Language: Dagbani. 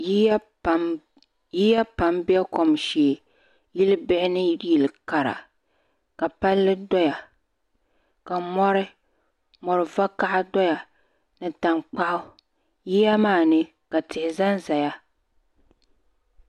Yiya pam be kom shee yili bihi ni yili kara ka Palli doya ka mori vakaha doya ni tankpaɣu yiya maa ni ka tihi zanzaya.